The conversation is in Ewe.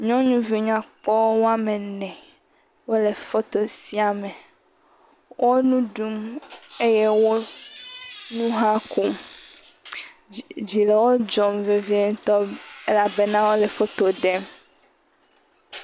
Nyɔnuvi nyakpɔ ene wole foto sia me. Wo nu ɖu eye wo nu hã kom. Dzi le wo dzɔm vevie ŋutɔ elabena wole foto ɖem.